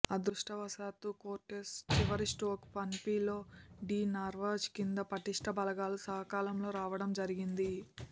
అదృష్టవశాత్తూ కోర్టెస్ చివరి stroke Panfilo de Narvaez కింద పటిష్ట బలగాల సకాలంలో రావడం జరిగింది